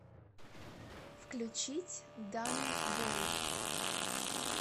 включить данни бой